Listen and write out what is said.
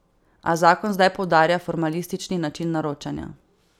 A zakon zdaj poudarja formalistični način naročanja.